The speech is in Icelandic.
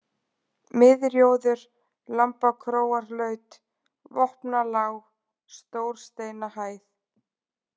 Miðrjóður, Lambakróarlaut, Vopnalág, Stórsteinahæð